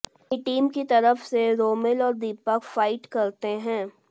अपनी टीम की तरफ से रोमिल और दीपक फाइट करते हैं